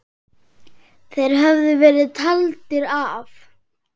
Þeir höfðu verið taldir af.